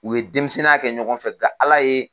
U ye denmisɛnninya kɛ ɲɔgɔn fɛ nka ALA ye.